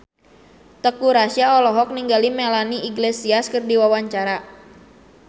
Teuku Rassya olohok ningali Melanie Iglesias keur diwawancara